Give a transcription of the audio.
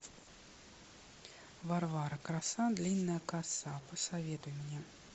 варвара краса длинная коса посоветуй мне